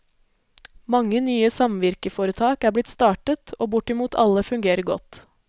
Mange nye samvirkeforetak er blitt startet, og bortimot alle fungerer godt.